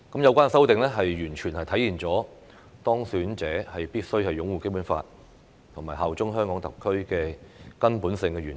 有關修訂完全體現當選者必須擁護《基本法》、效忠香港特區的根本性原則。